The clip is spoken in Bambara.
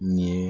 Nin ye